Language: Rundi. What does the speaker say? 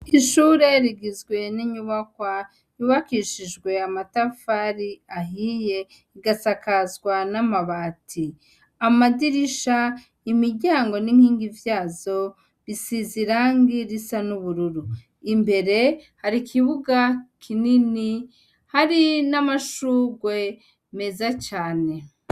Ishure rugizwe n'inyubakwa yubakishijwe namatafari ahiye, rigasakazwa namabati, amadirisha nimiryango n'inkingi zavyo bisize irangi risa nubururu, imbere hari ikibuga kinini hari namashurwe meza cane.